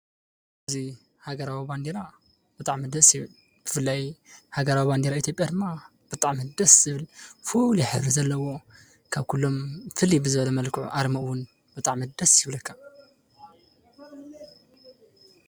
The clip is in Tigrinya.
እዚ ሃገራዊ ባንዴራ ብጣዕሚ ደስ ይብል፡፡ ብፍላይ ሃገራዊ ባንዴራ ኢትዮጵያ ድማ ብጣዕሚ ደስ ዝብል ፉሉይ ሕብሪ ዘለዎ ካብ ኩሎም ፍልይ ብዝበለ መልክዑ ኣርሙ እውን ብጣዕሚ ደስ ይብለካ፡፡